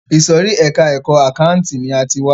Ìsòrí ẹka ẹ̀kọ́ àkáǹtì ni a ti wá.